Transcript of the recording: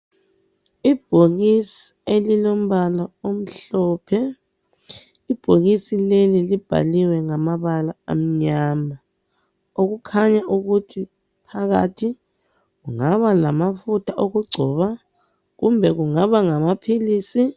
Ibhokisi elilombala omhlophe. Ibhokisi leli libhaliwe ngamabala amnyama . okukhanya ukuthi phakathi kungaba ngamafutha okugcoba kumbe kungaba ngamaphilisi.